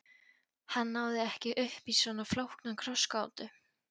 Hann náði ekki uppí svona flókna krossgátu.